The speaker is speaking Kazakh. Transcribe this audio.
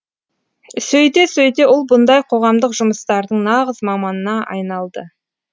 сөйте сөйте ол бұндай қоғамдық жұмыстардың нағыз маманына айналды